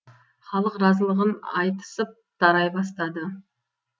халық разылығын айтысып тарай бастады